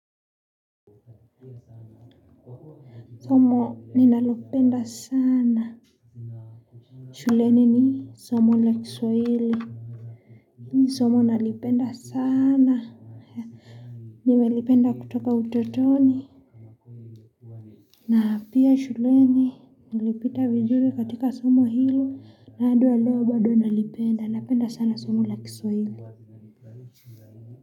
Somo ninalopenda sana shuleni ni somo la kiswahili ni somo nalipenda sana nimelipenda kutoka utotoni na pia shuleni nalipita vizuri katika somo hili na hadi wa leo bado nalipenda napenda sana somo la kiswahili.